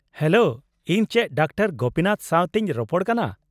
-Hello, ᱤᱧ ᱪᱮᱫ doctor Gopinath ᱥᱟᱶᱛᱮᱧ ᱨᱚᱯᱚᱱ ᱠᱟᱱᱟ ?